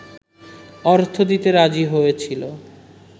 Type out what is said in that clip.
অর্থ দিতে রাজি হয়েছিল